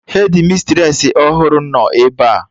Hedmistresị ọhụrụ nọ ebea